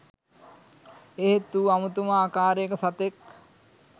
එහෙත් ඌ අමුතුම ආකාරයක සතෙක්